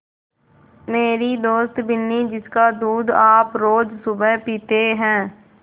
मेरी दोस्त बिन्नी जिसका दूध आप रोज़ सुबह पीते हैं